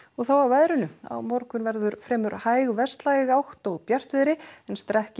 þá að veðri á morgun verður fremur hæg átt og bjartviðri en